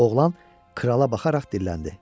Oğlan krala baxaraq dilləndi.